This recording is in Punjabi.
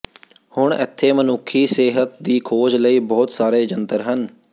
ਹੁਣ ਇੱਥੇ ਮਨੁੱਖੀ ਸਿਹਤ ਦੀ ਖੋਜ ਲਈ ਬਹੁਤ ਸਾਰੇ ਜੰਤਰ ਹਨ